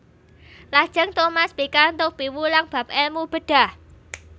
Lajeng Thomas pikantuk piwulang bab èlmu bedhah